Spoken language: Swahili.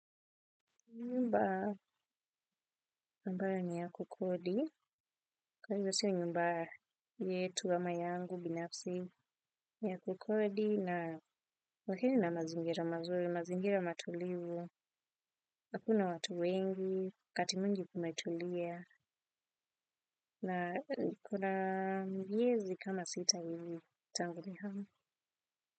Ambayo ni ya kukodi, kwa hiyo sio nyumba yetu ama yangu binafsi ni ya kukodi na wakini na mazingira mazuri, mazingira matulivu, hakuna watu wengi, katimwingi kumetulia, na kuna miezi kama sita hili tangu nihame.